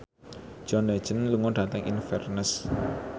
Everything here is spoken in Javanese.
John Legend lunga dhateng Inverness